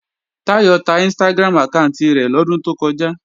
Táyọ̀ ta Instagram àkáànti rẹ̀ lọ́dún tó kọjá